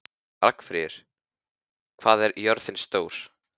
Ragnfríður, hvað er jörðin stór?